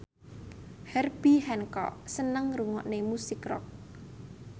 Herbie Hancock seneng ngrungokne musik rock